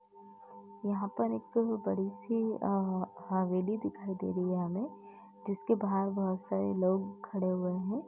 यहाँ पर एक बाड़ी सी अ हवेली दिखाई दे रही है हमें जिसके बाहर बहोत सारे लोग खड़े हुए हैं।